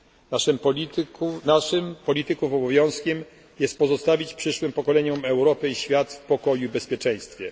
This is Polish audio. Naszym, polityków, obowiązkiem jest pozostawić przyszłym pokoleniom Europę i świat w pokoju i bezpieczeństwie.